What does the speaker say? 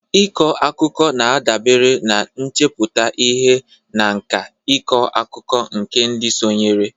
Ịkọ akụkọ na-adabere n'ichepụta ihe na nkà ịkọ akụkọ nke ndị sonyere.